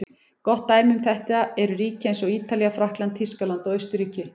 Gott dæmi um þetta eru ríki eins og Ítalía, Frakkland, Þýskaland og Austurríki.